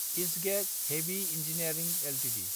इसगेक heavy engineering Ltd